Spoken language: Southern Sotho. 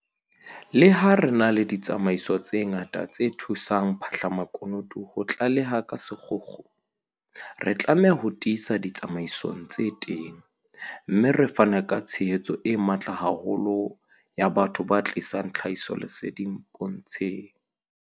Leha re na le ditsamaiso tse ngata tse thusang ba phahlamakunutu ho tlaleha ka sekgukgu, re tlameha ho tiisa ditsamaiso tsena tse teng, mme re fane ka tshehetso e matla haholo ya batho ba tlisang tlhahisoleseding pontsheng.